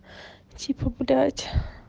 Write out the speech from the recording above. типа блять